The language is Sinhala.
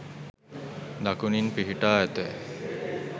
දකුණින් පිහිටා ඇත.